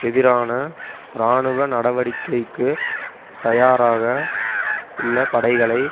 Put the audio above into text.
எதிரான இராணுவ நடவடிக்கைக்கு தயாராக உள்ள படைகளை